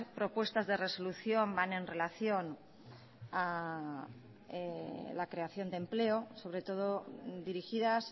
propuestas de resolución van en relación a la creación de empleo sobre todo dirigidas